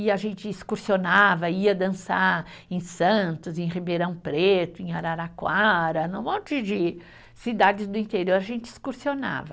E a gente excursionava, ia dançar em Santos, em Ribeirão Preto, em Araraquara, num monte de cidades do interior a gente excursionava.